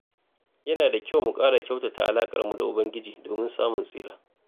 Yana da kyau mu ƙara kyautata alaƙarmu da Ubangiji domin samun tsira.